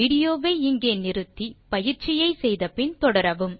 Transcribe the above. விடியோவை இங்கே இடைநிறுத்தி கொடுத்த பயிற்சியை செய்ய முயற்சி செய்து பின் தொடரவும்